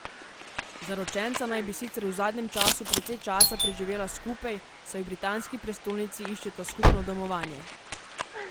Zaročenca naj bi sicer v zadnjem času precej časa preživela skupaj, saj v britanski prestolnici iščeta skupno domovanje.